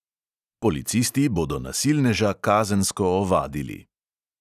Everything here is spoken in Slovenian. Policisti bodo nasilneža kazensko ovadili.